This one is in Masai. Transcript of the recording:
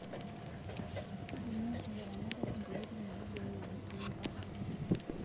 Kitumia ilaramatak ntokitin naiboyoo osiuo arip intapuka